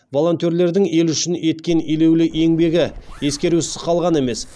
волонтерлердің ел үшін еткен елеулі еңбегі ескерусіз қалған емес